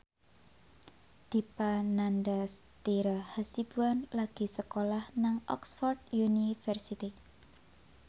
Dipa Nandastyra Hasibuan lagi sekolah nang Oxford university